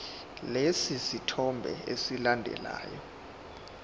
lesi sithombe esilandelayo